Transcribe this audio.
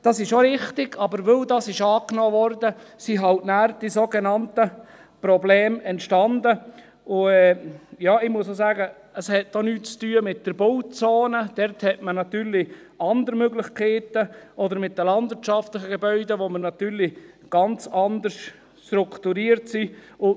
Das ist auch richtig, aber weil sie angenommen wurde, entstanden halt nachher die sogenannten Probleme, und ich muss sagen, es hat auch nichts zu tun mit der Bauzone – dort hat man natürlich andere Möglichkeiten – oder mit den landwirtschaftlichen Gebäuden, wo man natürlich ganz anders strukturiert ist.